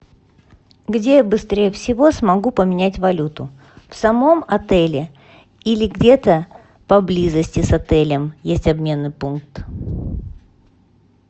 где быстрее всего смогу поменять валюту в самом отеле или где то поблизости с отелем есть обменный пункт